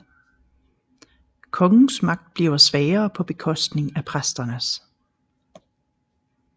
Kongens magt bliver svagere på bekostning af præsternes